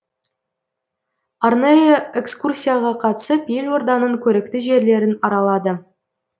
арнайы экскурсияға қатысып елорданың көрікті жерлерін аралады